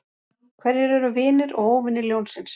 Hverjir eru vinir og óvinir ljónsins?